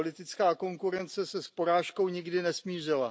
Politická konkurence se s porážkou nikdy nesmířila.